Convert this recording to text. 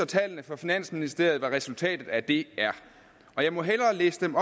tallene fra finansministeriet viser hvad resultatet af det er og jeg må hellere læse dem